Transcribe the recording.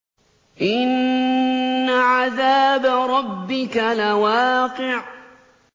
إِنَّ عَذَابَ رَبِّكَ لَوَاقِعٌ